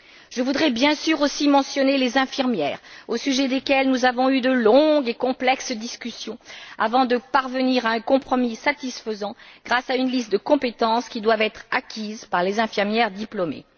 Je voudrais bien sûr aussi mentionner les infirmières, au sujet desquelles nous avons eu de longues et complexes discussions, avant de parvenir à un compromis satisfaisant, grâce à une liste de compétences qui doivent être acquises par les infirmières diplômées.